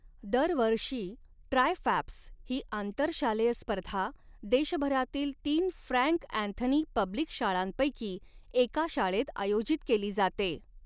दरवर्षी tri FAPS ही आंतरशालेय स्पर्धा, देशभरातील तीन फ्रँक अँथनी पब्लिक शाळांपैकी एका शाळेत आयोजित केली जाते.